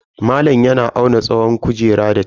Malam yana auna tsawon kujerar da tef.